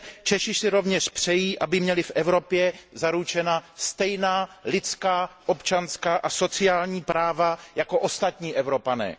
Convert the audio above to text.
Češi si rovněž přejí, aby měli v Evropě zaručena stejná lidská, občanská a sociální práva jako ostatní Evropané.